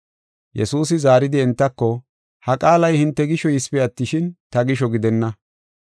Yesuusi zaaridi entako, “Ha qaalay hinte gisho yisipe attishin, ta gisho gidenna.